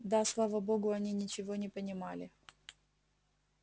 да слава богу они ничего не понимали